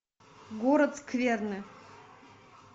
город скверны